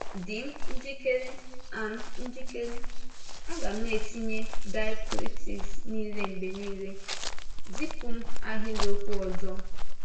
Dị m njikere! A m njikere! A ga m na-etinye diacritics niile mgbe niile. Zipụ m ahịrịokwu ọzọ!